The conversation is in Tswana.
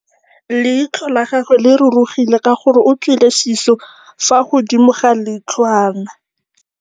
Leitlhô la gagwe le rurugile ka gore o tswile sisô fa godimo ga leitlhwana.